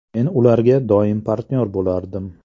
Men ularga doim partnyor bo‘lardim.